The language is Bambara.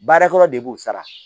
Baarakɔrɔ de b'u sara